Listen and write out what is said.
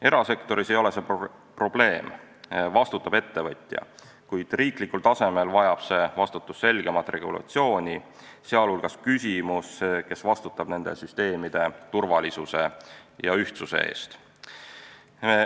Erasektoris ei ole see probleem, vastutab ettevõtja, kuid riigi tasemel vajab see vastutus selgemat regulatsiooni, sh küsimus, kes vastutab nende süsteemide turvalisuse ja ühtsuse eest.